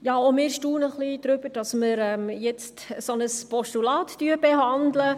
Auch wir staunen ein wenig darüber, dass wir jetzt ein solches Postulat behandeln.